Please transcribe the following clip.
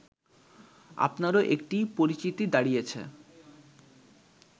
আপনারও একটি পরিচিতি দাঁড়িয়েছে